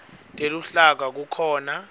teluhlaka kukhona